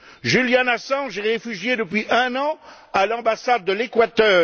Julian Assange est réfugié depuis un an à l'ambassade de l'Equateur.